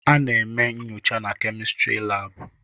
Ana eme nnyocha na Kemịstịrị laabụ.